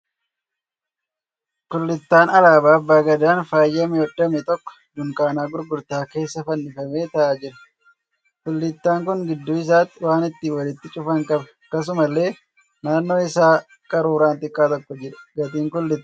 Kullittaan alaabaa Abba Gadaan faayyamee hodhame tokko dunkaana gurgurtaa keessa fannifamee ta'aa jira. kullittaan kun gidduu isaatti waan ittin walitti cufan qaba. Akkasumallee naannoo isaa qaruuraan xiqqaa tokko jira. Gatiin kullittaa kanaa meeqa?